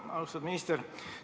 Austatud minister!